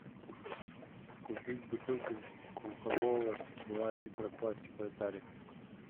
купить бутылку кока колы два литра в пластиковой таре